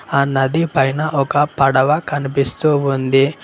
ఆ నది పైన ఒక పడవ కనిపిస్తూ ఉంది.